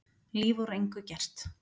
Líf úr engu gert.